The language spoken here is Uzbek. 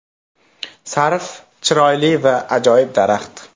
Sarv chiroyli va ajoyib daraxt.